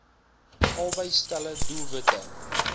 albei stelle doelwitte